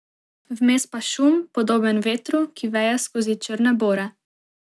Vmes pa šum, podoben vetru, ki veje skozi črne bore.